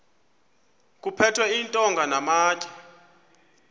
kuphethwe iintonga namatye